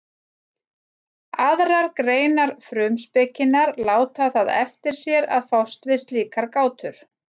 aðrar greinar frumspekinnar láta það eftir sér að fást við slíkar gátur